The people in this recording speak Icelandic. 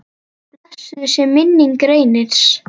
Blessuð sé minning Reynis.